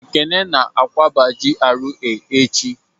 Ekene na-akwaba GRA echi